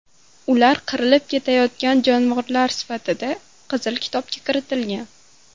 Ular qirilib ketayotgan jonivor sifatida Qizil kitobga kiritilgan.